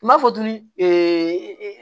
Kuma fɔtoli